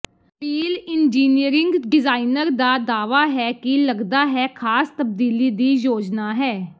peel engineering designer ਦਾ ਦਾਅਵਾ ਹੈ ਕਿ ਲੱਗਦਾ ਹੈ ਖਾਸ ਤਬਦੀਲੀ ਦੀ ਯੋਜਨਾ ਹੈ